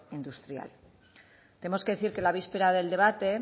industrial tenemos que decir que la víspera del debate